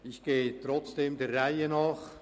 Ich gehe trotzdem der Reihe nach.